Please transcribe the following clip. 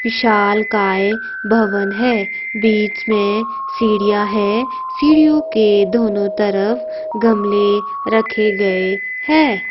विशालकाय भवन है बीच में सीडीयां है सीढ़ियोंके के दोनों तरफ गमले रखे गए हैं।